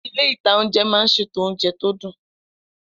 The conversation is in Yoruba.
Ilé-ìtánjẹ máa n ṣètò oúnjẹ tó dùn